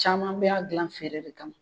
Caman b'a gilan feere de kama.